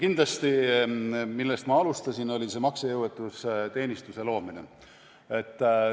Kindlasti see, millest ma alustasin, maksejõuetuse teenistuse loomine.